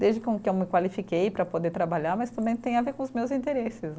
Desde com, que eu me qualifiquei para poder trabalhar, mas também tem a ver com os meus interesses.